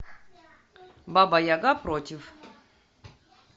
баба яга против